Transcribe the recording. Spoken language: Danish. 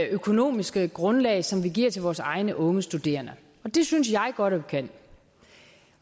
økonomiske grundlag som vi giver til vores egne unge studerende det synes jeg godt at vi kan